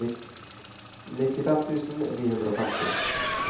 nittifem tusen ni hundre og femti